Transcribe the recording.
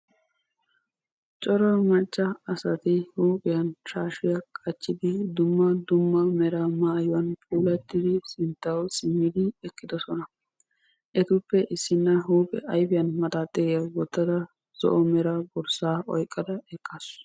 Cora macca asati huuphphiyaan shaashiyaa qaccidi dumma dumma meraa maayuwaan puulattidi sinttawu simmidi eqqidoosona. etuppe issina huuphphiyaan ayfiyaan maxaaxiriyaa wottada zo'o mera borssaa oyqqada eqqasu.